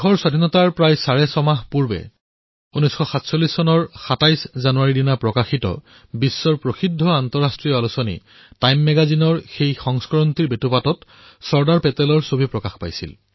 স্বাধীনতাৰ প্ৰায় চাৰে ছয়মাহ পূৰ্বে ২৭ জানুৱাৰী ১৯৪৭ তাৰিখে বিশ্বৰ প্ৰসিদ্ধ আন্তৰ্জাতিক আলোচনী টাইম মেগাজিনে যি সংস্কৰণ প্ৰকাশ কৰিছিল তাৰে মুখ্য পৃষ্ঠাত চৰ্দাৰ পেটেলৰ আলোকচিত্ৰ আছিল